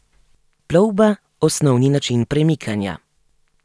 Plovba osnovni način premikanja.